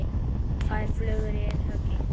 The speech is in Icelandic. Tvær flugur í einu höggi.